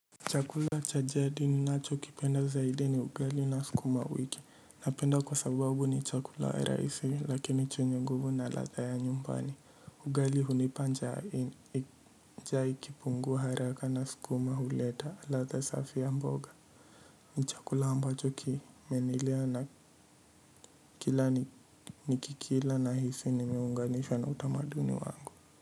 Chakula cha jadi ninacho kipenda zaidi ni ugali na sukumawiki. Napenda kwa sababu ni chakula rahisi lakini chenye nguvu na ladha ya nyumbani. Ugali hunipa njaa ikipungua haraka na sukuma huleta ladha safi ya mboga. Ni chakula ambacho kimenilea na kila ni kikila nahisi nimeunganishwa na utamaduni wangu.